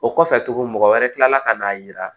O kɔfɛ tuguni mɔgɔ wɛrɛ kilala ka na yira